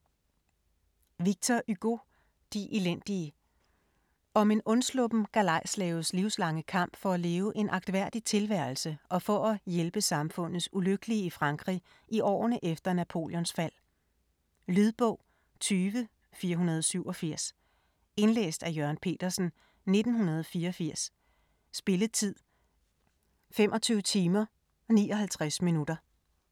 Hugo, Victor: De elendige Om en undsluppen galejslaves livslange kamp for at leve en agtværdig tilværelse og for at hjælpe samfundets ulykkelige i Frankrig i årene efter Napoleons fald. Lydbog 20487 Indlæst af Jørgen Petersen, 1984. Spilletid: 25 timer, 59 minutter.